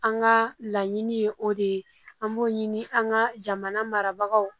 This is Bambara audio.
An ka laɲini ye o de ye an b'o ɲini an ka jamana marabagaw